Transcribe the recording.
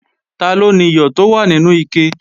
Taló niyọ̀ tó wà nínú ike?